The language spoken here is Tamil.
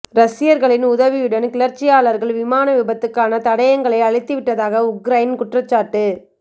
ரஷ்யர்களின் உதவியுடன் கிளர்ச்சியாளர்கள் விமான விபத்துக்கான தடயங்களை அழித்துவிட்டதாக உக்ரைன் குற்றச்சாட்டு